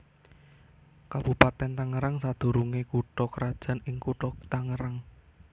Kabupatèn Tangerang sadurungé kutha krajan ing Kutha Tangerang